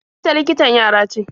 Ita likitan yara ce.